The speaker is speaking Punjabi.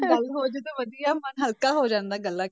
ਗੱਲ ਹੋ ਜਾਏ ਤਾਂ ਵਧੀਆ ਮਨ ਹਲਕਾ ਹੋ ਜਾਂਦਾ ਗੱਲਾਂ,